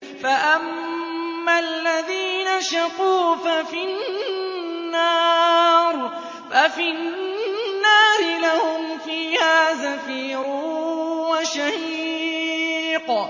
فَأَمَّا الَّذِينَ شَقُوا فَفِي النَّارِ لَهُمْ فِيهَا زَفِيرٌ وَشَهِيقٌ